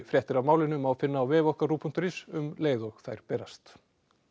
fréttir af málinu má finna á vef okkar ruv punktur is um leið og þær berast